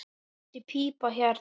Þessi pípa hérna.